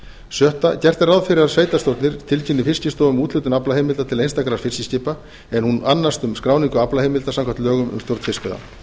sjötta gert er ráð fyrir að sveitarstjórnir tilkynni fiskistofu um úthlutun aflaheimilda til einstakra fiskiskipa en hún annast skráningu aflaheimilda samkvæmt lögum um stjórn fiskveiða